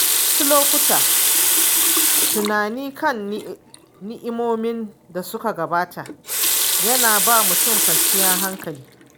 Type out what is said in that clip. Wasu lokuta, tunani kan ni'imomin dasuka gabata yana ba mutum kwanciyar hankali.